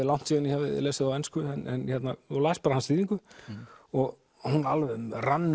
langt síðan ég hafði lesið á ensku og las bara hans þýðingu og hún rann